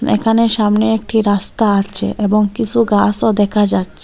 এখানে সামনে একটি রাস্তা আচে এবং কিসু গাসও দেখা যাচ্চে।